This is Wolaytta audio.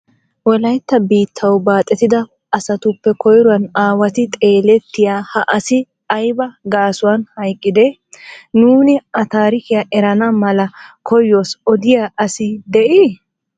Wolaytta biittaw baaxettida asatuppe koyruwanne aawatto xeelettiyaa ha asi aybba gaasuwan hayqqide? Nuuni a tarikiya erana mala koyyos odiya asi de"ii?